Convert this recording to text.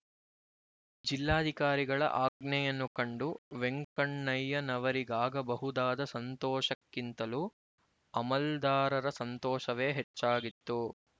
ಜಿಲ್ಲಾಧಿಕಾರಿಗಳ ಆಜ್ಞೆಯನ್ನು ಕಂಡು ವೆಂಕಣ್ಣಯ್ಯನವರಿಗಾಗಬಹುದಾದ ಸಂತೋಷಕ್ಕಿಂತಲೂ ಅಮಲ್ದಾರರ ಸಂತೋಷವೇ ಹೆಚ್ಚಾಗಿತ್ತು